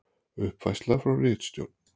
Uppfærsla frá ritstjórn: